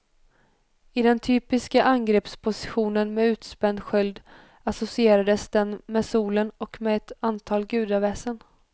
I den typiska angreppspositionen med utspänd sköld associerades den med solen och med ett antal gudaväsen.